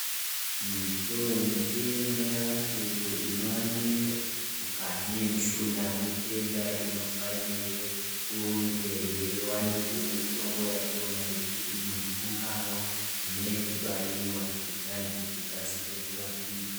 Mitowe mitenda iyo inowanikwa mukati mwemishina, mitenda inofanirwe kunge yeiwanirwa mitombo yachona yekuti muntu ungamwa. Kana yekubaiwa kuitirani kuti ikasire kurapike.